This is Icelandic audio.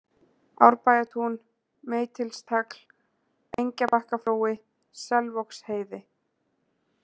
Árbæjartún, Meitilstagl, Engjabakkaflói, Selvogsheiði